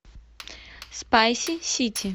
спайси сити